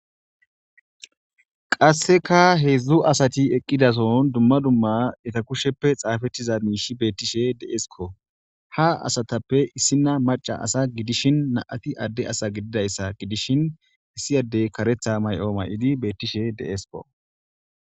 qasseka heedzdzu asati eqqidason dumma dumma eta kusheppe xaafettiza miishi beettishe deesiko ha asatappe issina maca asa gidishin naati adde asa gididayssa gidishin issi addey karetha may7o may7idi beettishe deesko